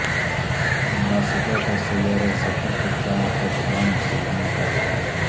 NASA کا سیارہ زحل کے چاند پر ڈرون بھیجنے کا اعلان